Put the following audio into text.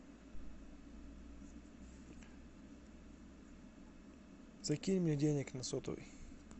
закинь мне денег на сотовый